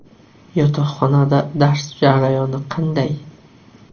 Yotoqxonada dars jarayoni qanday?